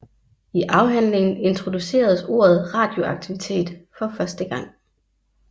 I afhandlingen introduceres ordet radioaktivitet for første gang